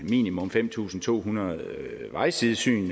minimum fem tusind to hundrede vejsidesyn